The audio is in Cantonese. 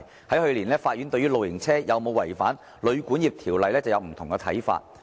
去年，法院對於露營車有否違反《旅館業條例》便有不同看法。